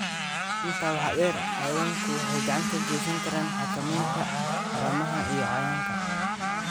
Intaa waxaa dheer, xayawaanku waxay gacan ka geysan karaan xakamaynta haramaha iyo cayayaanka.